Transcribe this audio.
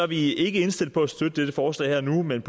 vi ikke indstillet på at støtte dette forslag her og nu men